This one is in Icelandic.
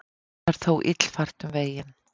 Enn er þó illfært um veginn.